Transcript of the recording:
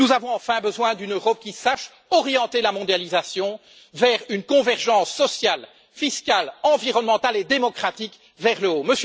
Nous avons enfin besoin d'une Europe qui sache orienter la mondialisation vers une convergence sociale, fiscale, environnementale et démocratique vers le haut.